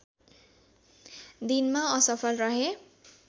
दिनमा असफल रहे